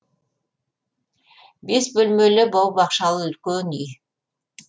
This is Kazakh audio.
бес бөлмелі бау бақшалы үлкен үй